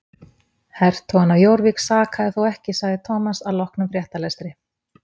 Hertogann af Jórvík sakaði þó ekki sagði Thomas að loknum fréttalestri.